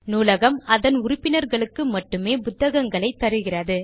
நூலகம் அதன் உறுப்பினர்களுக்கு மட்டுமே புத்தகங்களை தருகிறது